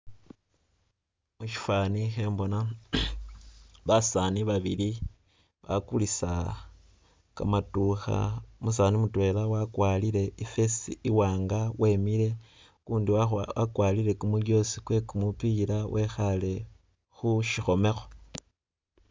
Musifani khembona basani babili bakulisa kamaddukha umusani mutwela wakwarile I'vest i'wanga wemiile ukundi wakhwa wakwarile kumujjosi kwe'kumupila wekhale khu' sikhomekho